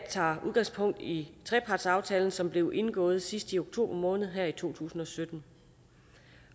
tager udgangspunkt i trepartsaftalen som blev indgået sidst i oktober måned her i to tusind og sytten